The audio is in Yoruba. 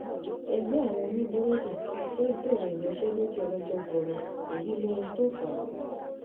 ẹgbẹ́ àwọn oníbúrẹ́dì fẹ́ẹ́ bẹ̀rẹ̀ ìyanṣẹ́lódì ọlọ́jọ́ gbọ́gboro èyí lóhun tó fà á